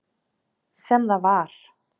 Sem það var.